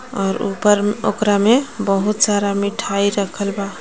और ऊपर ओकरा में बहुत सारा मिठाई रखल बा.